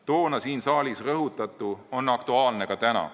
Toona siin saalis rõhutatu on aktuaalne ka täna.